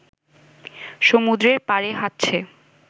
সমুদ্রের পাড়ে হাঁটছে